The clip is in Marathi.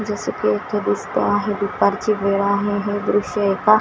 जस की इथं दिसतं आहे दुपारची वेळ आहे हे दृश्य एका--